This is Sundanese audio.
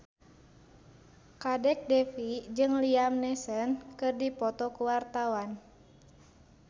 Kadek Devi jeung Liam Neeson keur dipoto ku wartawan